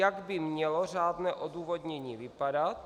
Jak by mělo řádné odůvodnění vypadat?